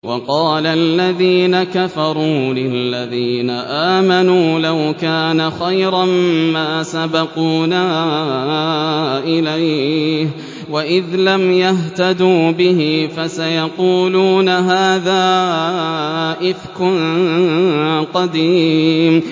وَقَالَ الَّذِينَ كَفَرُوا لِلَّذِينَ آمَنُوا لَوْ كَانَ خَيْرًا مَّا سَبَقُونَا إِلَيْهِ ۚ وَإِذْ لَمْ يَهْتَدُوا بِهِ فَسَيَقُولُونَ هَٰذَا إِفْكٌ قَدِيمٌ